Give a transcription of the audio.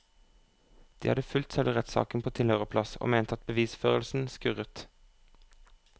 De hadde fulgt selve rettssaken på tilhørerplass og mente at bevisførselen skurret.